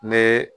Ne